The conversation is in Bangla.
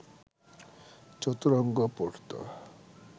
চতুরঙ্গ পড়ত